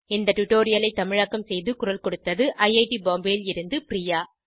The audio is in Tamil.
இந்த டுடோரியலை தமிழாக்கம் செய்து குரல் கொடுத்தது ஐஐடி பாம்பேவில் இருந்து பிரியா